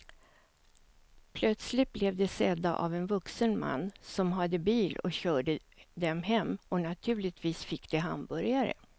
Plötsligt blev de sedda av en vuxen man som hade en bil och körde dem hem och naturligtvis fick de hamburgare.